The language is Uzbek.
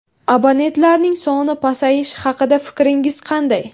Abonentlarning soni pasayishi haqida fikringiz qanday?